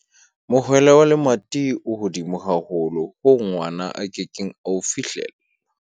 mohwele wa lemati o hodimo haholo hoo ngwana a ke keng a o fihlella